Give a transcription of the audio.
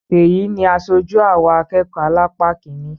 Ṣeyì ni aṣojú àwa akẹ́kọ̀ọ́ alápá kiní